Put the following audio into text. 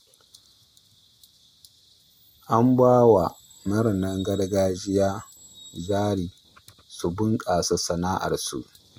An ba wa marinan gargajiya jari su bunƙasa sana'arsu ta rini